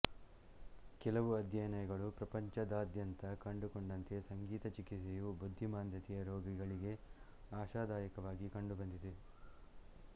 ಕೆಲವು ಅಧ್ಯಯನಗಳು ಪ್ರಪಂಚದಾದ್ಯಂತ ಕಂಡುಕೊಂಡಂತೆ ಸಂಗೀತ ಚಿಕಿತ್ಸೆಯು ಬುದ್ಧಿಮಾಂದ್ಯತೆಯ ರೋಗಿಗಳಿಗೆ ಆಶಾದಾಯಕವಾಗಿ ಕಂಡುಬಂದಿದೆ